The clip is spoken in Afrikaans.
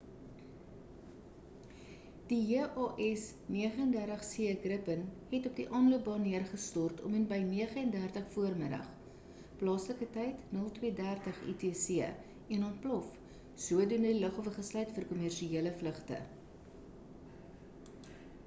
die jas 39c gripen het op die aanloopbaan neergestort om en by 9:30 vm plaaslike tyd 0230 utc en ontplof sodoende die lughawe gesluit vir kommersiële vlugte